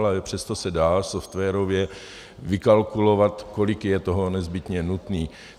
Ale přesto se dá softwarově vykalkulovat, kolik je toho nezbytně nutné.